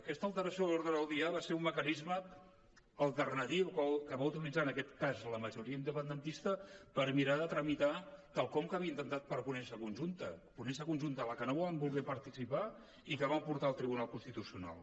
aquesta alteració de l’ordre del dia va ser un mecanisme alternatiu que va utilitzar en aquest cas la majoria independentista per mirar de tramitar quelcom que havia intentat per ponència conjunta ponència conjunta a la que no van voler participar i que van portar al tribunal constitucional